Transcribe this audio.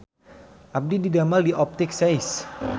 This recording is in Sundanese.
Abdi didamel di Optik Seis